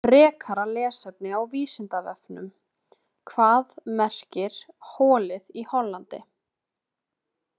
Frekara lesefni á Vísindavefnum: Hvað merkir holið í Hollandi?